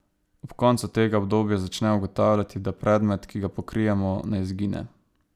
Ob koncu tega obdobja začne ugotavljati, da predmet, ki ga pokrijemo, ne izgine.